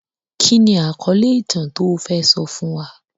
Kí ni àkọ́lé ìtàn tó fẹ́ sọ fún wa?